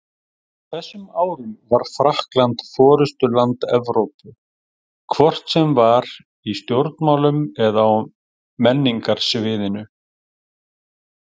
Á þessum árum var Frakkland forystuland Evrópu, hvort sem var í stjórnmálum eða á menningarsviðinu.